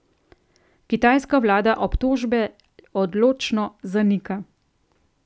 Kitajska vlada obtožbe odločno zanika.